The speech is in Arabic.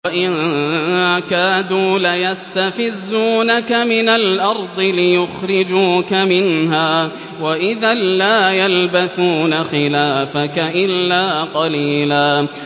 وَإِن كَادُوا لَيَسْتَفِزُّونَكَ مِنَ الْأَرْضِ لِيُخْرِجُوكَ مِنْهَا ۖ وَإِذًا لَّا يَلْبَثُونَ خِلَافَكَ إِلَّا قَلِيلًا